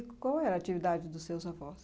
E qual era a atividade dos seus avós?